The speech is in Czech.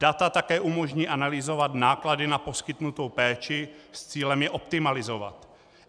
Data také umožní analyzovat náklady na poskytnutou péči s cílem je optimalizovat.